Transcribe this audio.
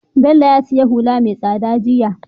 Bello ya siya hula me tsada jiya